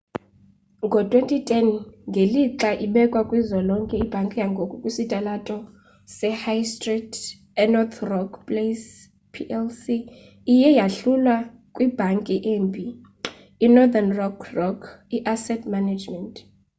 ngo-2010 ngelixa ibekwa kuzwelonke ibhanki yangoku ekwisitalato sehigh stree enorth rock plc iye yahlulwa 'kwibhanki embi' inorthern rock rock i-asset management.